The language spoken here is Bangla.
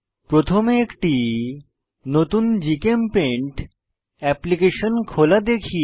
প্রথমে একটি নতুন জিচেমপেইন্ট অ্যাপ্লিকেশন খোলা দেখি